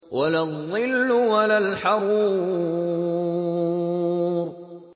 وَلَا الظِّلُّ وَلَا الْحَرُورُ